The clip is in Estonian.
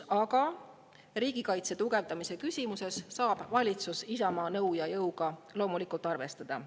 Aga riigikaitse tugevdamise küsimuses saab valitsus Isamaa nõu ja jõuga loomulikult arvestada.